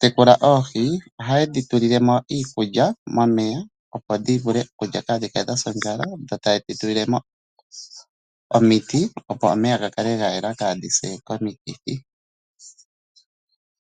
tekula oohi, oha ye dhi tulile mo iikulya momeya opo dhi vule okulya kaadhi kale dhasa ondjala dho taye dhi tulile mo omiti opo omeya ga kale ga yela kaa dhi se komikithi.